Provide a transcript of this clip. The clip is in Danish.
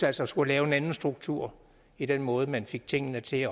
altså skulle lave en anden struktur i den måde man fik tingene til